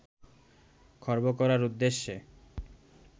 খর্ব করার উদ্দেশ্যে